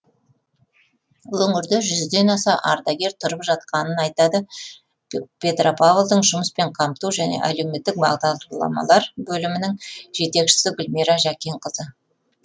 өңірде жүзден аса ардагер тұрып жатқанын айтады петропавлдың жұмыспен қамту және әлеуметтік бағдарламалар бөлімінің жетекшісі гүлмира жәкенқызы